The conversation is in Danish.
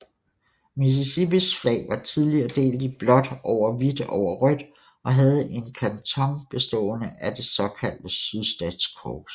Mississippis flag var tidligere delt i blåt over hvidt over rødt og havde en kanton bestående af det såkaldte sydstatskors